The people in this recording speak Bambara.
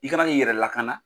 I kan k'i yɛrɛ lakana